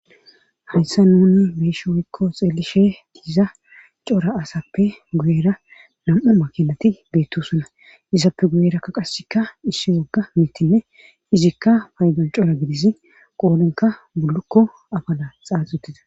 Hayssa nuni beesha oykko xeelishe diiza cora asappe guyera nam7u makinati beettusuna izappe guyerakka qasikka issi wogga mitinne izikka paydan cora gidissi qoolenka bulukko abala xaax uttida